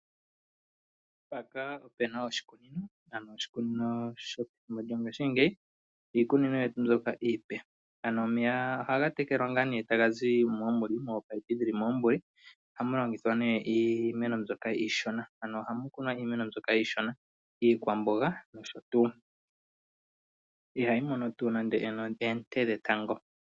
Oshikunino shopethimbo lyongaashimgeyi iikunino mbyono iipe . Omeya ohaga tekelwa taga zi mominino dhili mombanda. Ohayi longithwa iimeno mbyoka iishona ano iikwamboga ihayi mono nande oonte dhetango.